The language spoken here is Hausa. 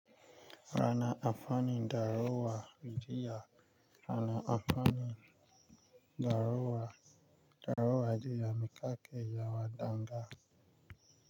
Kana amfani da ruwan rijiya. Kana amfani daruwan, daruwa rijiya, miƙaƙe yawa danga.